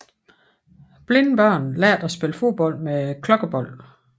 Blinde børn lærte at spille fodbold med klokkebold